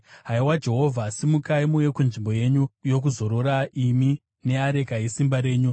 haiwa Jehovha, simukai muuye kunzvimbo yenyu yokuzorora, imi neareka yesimba renyu.